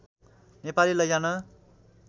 नेपाली लैजान